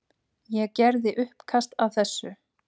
Ég gerði uppkast að þessu.